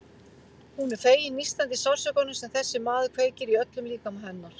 Hún er fegin nístandi sársaukanum sem þessi maður kveikir í öllum líkama hennar.